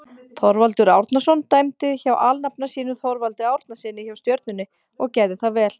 Þorvaldur Árnason dæmdi hjá alnafna sínum Þorvaldi Árnasyni hjá Stjörnunni og gerði það vel.